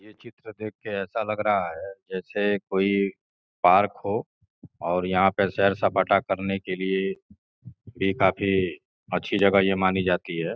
चित्र देख के ऐसा लग रहा है जैसे कोई पार्क हो और यहां पर शहर सपाटा करने के लिए भी काफी अच्छी जगह यह मानी जाती है।